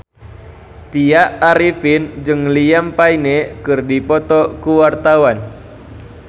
Tya Arifin jeung Liam Payne keur dipoto ku wartawan